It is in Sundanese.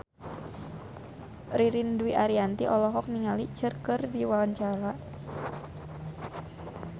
Ririn Dwi Ariyanti olohok ningali Cher keur diwawancara